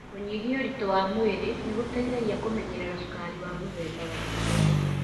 Kũnyihia ũritũ wa mwĩrĩ nĩ gũteithagia kũmenyerera cukari wa mũthemba wa kerĩ.